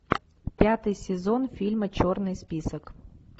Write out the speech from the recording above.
пятый сезон фильма черный список